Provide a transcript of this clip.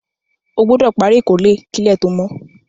O gbúdò pari ìkórè kílẹ̀ to mo